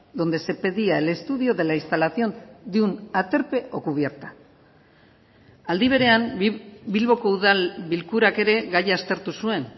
donde se pedía el estudio de la instalación de un aterpe o cubierta aldi berean bilboko udal bilkurak ere gaia aztertu zuen